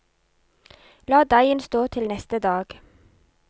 La deigen stå til neste dag.